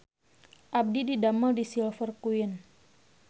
Abdi didamel di Silver Queen